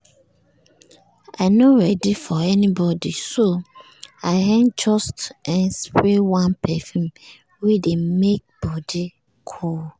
i no ready for anybody so i um just um spray one perfume wey dey make body um cool.